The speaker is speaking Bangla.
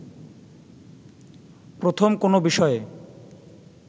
প্রথম কোনো বিষয়ে